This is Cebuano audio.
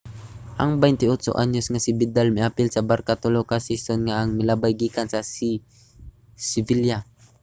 ang 28-anyos nga si vidal miapil sa barça tulo ka season ang milabay gikan sa sevilla